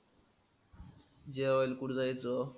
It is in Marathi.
जेवायला कुठं जायचं?